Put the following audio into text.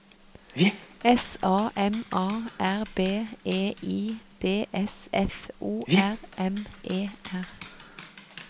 S A M A R B E I D S F O R M E R